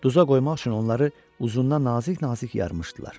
Duza qoymaq üçün onları uzundan nazik-nazik yarmışdılar.